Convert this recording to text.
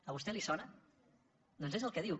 a vostè li sona doncs és el que diu